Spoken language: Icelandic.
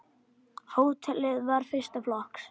Hótelið var fyrsta flokks.